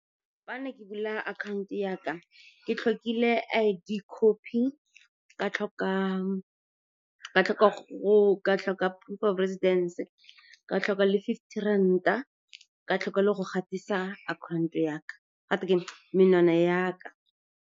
Fa ne ke bula account yaka, ke tlhokile I_D copy, ka tlhoka proof of residence, ka tlhoka le fifty ranta, ka tlhoka le go gatisa menwana yaka.